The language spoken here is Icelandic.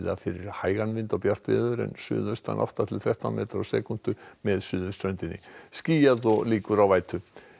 fyrir hægan vind og bjart veður en suðaustan átta til þrettán metra á sekúndu með suðurströndinni skýjað og líkur á vætu